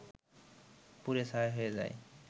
পুড়ে ছাই হয়ে যায়